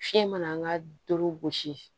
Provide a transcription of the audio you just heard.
Fiɲɛ mana doro gosi